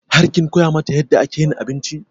Har kin koya mata yadda ake yin abinci?